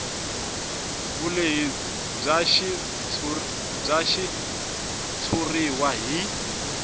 vulehi bya xitshuriwa hi